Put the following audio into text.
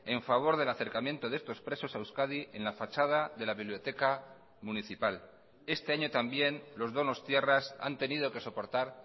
en favor del acercamiento de estos presos a euskadi en la fachada de la biblioteca municipal este año también los donostiarras han tenido que soportar